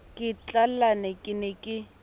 ke tlallane ke ne ke